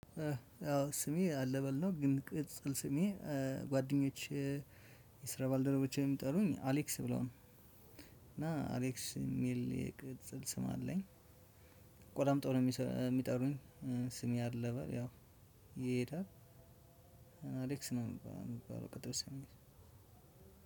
አዎ ስሜ አለበል ነው ግን ቅጽል ስሜ ጓደኞቼ የስራ ባልደረቦቼም የሚጠሩኝ አሌክስ ብለው ነው። እና አሌክስ የሚል የቅጽል ስም አለኝ። አቆላምጠው ነው የሚጠሩኝ። ስሜ አለበል ያው ይሄዳል። አሌክስ ነው የሚባለው ቅጵል ስሜ